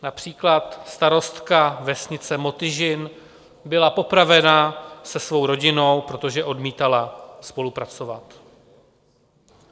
Například starostka vesnice Motyžin byla popravena se svou rodinou, protože odmítala spolupracovat.